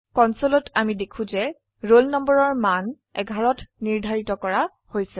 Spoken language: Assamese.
কনসোলত আমি দেখো যে ৰোল নম্বৰৰ মান 11 ত নিৰ্ধাৰিত কৰা হৈছে